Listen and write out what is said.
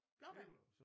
Blåbær